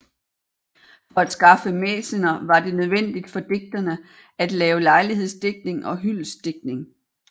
For at skaffe mæcener var det nødvendigt for digterne at lave lejlighedsdigtning og hyldestdigtning